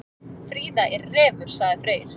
Fríða er refur, sagði Freyr.